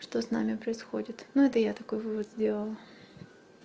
что с нами происходит ну это я такой вывод сделала